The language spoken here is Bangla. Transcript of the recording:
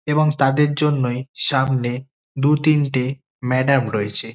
এবং তাদের জন্যই সামনে দু-তিনটে ম্যাডাম রয়েছে।